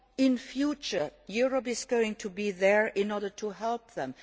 In future Europe is going to be there in order to help them.